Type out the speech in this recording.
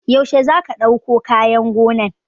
Yaushe za ka ɗauko kayan gonan?